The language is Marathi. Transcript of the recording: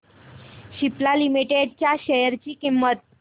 सिप्ला लिमिटेड च्या शेअर ची किंमत